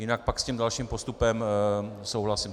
Jinak pak s tím dalším postupem souhlasím.